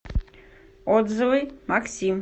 отзывы максим